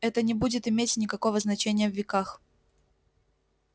это не будет иметь никакого значения в веках